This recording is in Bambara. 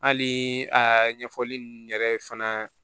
Hali ɲɛfɔli ninnu yɛrɛ fana